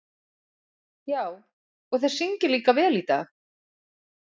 Já, og þeir syngja líka vel í dag.